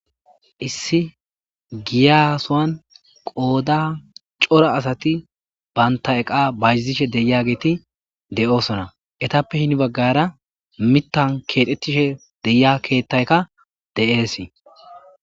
Issi giyasowan qooda cora asati baynta eqa bayzishe deya geeti de7oosona etappe hini baggara mittan keexettishe deya keettaykka de'eesii.